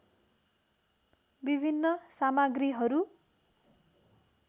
विभिन्न सामग्रीहरू